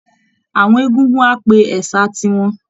Àwọn egungun á pe ẹ̀sà tiwọn